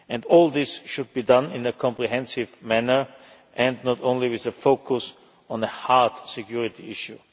All this should be done in a comprehensive manner and not just with a focus on the hard security issue.